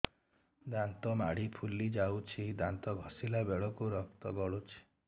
ଦାନ୍ତ ମାଢ଼ୀ ଫୁଲି ଯାଉଛି ଦାନ୍ତ ଘଷିଲା ବେଳକୁ ରକ୍ତ ଗଳୁଛି